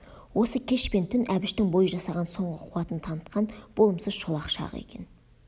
осы кеш пен түн әбіштің бой жасаған соңғы қуатын танытқан болымсыз шолақ шағы екен